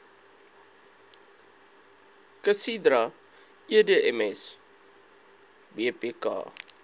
casidra edms bpk